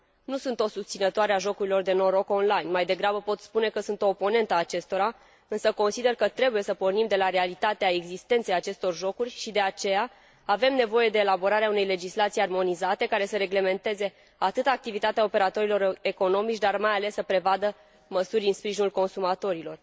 Nu sunt o susținătoare a jocurilor de noroc on line. Pot spune, mai degrabă, că sunt o oponentă a acestora, însă consider că trebuie să pornim de la realitatea existenței acestor jocuri și, de aceea, avem nevoie de elaborarea unei legislații armonizate, care să reglementeze activitatea operatorilor economici, dar mai ales să prevadă măsuri în sprijinul consumatorilor.